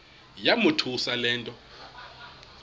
yamothusa le nto